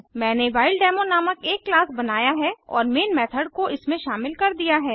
मैंने व्हाइलडेमो नामक एक क्लास बनाया है और मेन मेथड को इसमें शामिल कर दिया है